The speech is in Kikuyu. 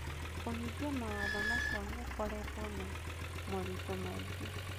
Kũhingia mawatho macio gũkoretwo na moritũ maingĩ.